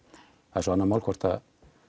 það er svo annað mál hvort